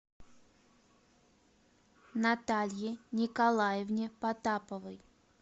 наталье николаевне потаповой